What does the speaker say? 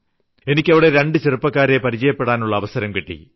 എനിക്ക് അവിടെ രണ്ട് ചെറുപ്പക്കാരെ പരിചയപ്പെടാനുള്ള അവസരം കിട്ടി